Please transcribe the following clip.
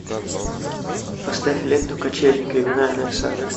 поставь ленту качели криминальная сага